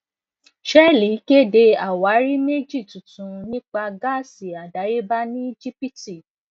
shell kéde àwárí méjì tuntun nípa gáàsì àdáyébá ní egypt